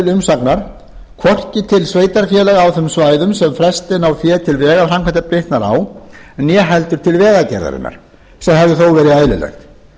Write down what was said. umsagnar hvorki til sveitarfélaga á þeim svæðum sem frestun á fé á vegaframkvæmda bitnar á né heldur til vegagerðarinnar sem hefði þó verið eðlilegt